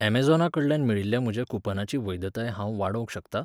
ऍमेझॉनाकडल्यान मेळिल्ल्या म्हज्या कुपनाची वैधताय हांव वाडोवंक शकता ?